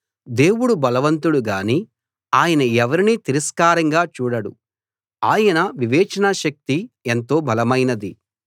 దేవుడు బలవంతుడు గానీ ఆయన ఎవరినీ తిరస్కారంగా చూడడు ఆయన వివేచనాశక్తి ఎంతో బలమైనది